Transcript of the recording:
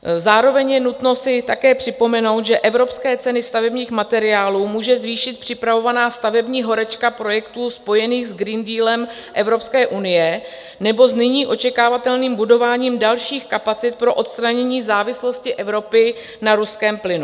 Zároveň je nutno si také připomenout, že evropské ceny stavebních materiálů může zvýšit připravovaná stavební horečka projektů spojených s Green Dealem Evropské unie nebo s nyní očekávatelným budováním dalších kapacit pro odstranění závislosti Evropy na ruském plynu.